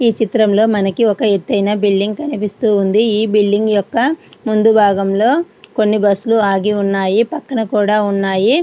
ఈ చిత్రంలో మనకి ఒకఎతైన బిల్డింగ్ కనిపిస్తుంది. ఈ బిల్డింగ్ యొక్క ముందు భాగంలో కొన్ని బస్సు లు ఆగి ఉన్నాయి. పక్కన కూడా ఉన్నాయి.